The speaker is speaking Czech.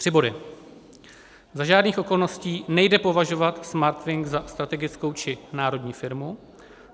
Tři body: Za žádných okolností nejde považovat Smartwings za strategickou či národní firmu.